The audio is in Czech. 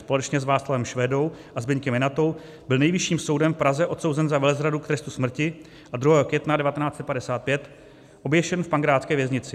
Společně s Václavem Švédou a Zbyňkem Janatou byl Nejvyšším soudem v Praze odsouzen za velezradu k trestu smrti a 2. května 1955 oběšen v pankrácké věznici.